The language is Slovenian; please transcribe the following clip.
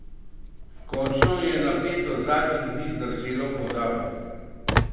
Končno je napetost zadnjih dni zdrsela v pozabo.